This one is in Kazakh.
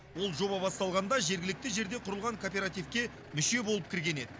ол жоба басталғанда жергілікті жерде құрылған кооперативке мүше болып кірген еді